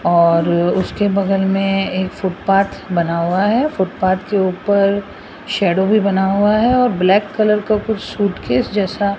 और उसके बगल में एक फुटपाथ बना हुआ है फुटपाथ के ऊपर शैडो भी बना हुआ है और ब्लैक कलर का कुछ सूटकेस जैसा --